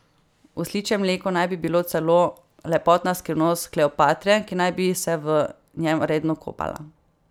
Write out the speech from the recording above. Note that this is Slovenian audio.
Osličje mleko naj bi bilo celo lepotna skrivnost Kleopatre, ki naj bi se v njem redno kopala.